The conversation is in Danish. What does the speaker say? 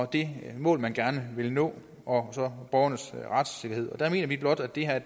det mål man gerne vil nå og så borgernes retssikkerhed der mener vi blot at det her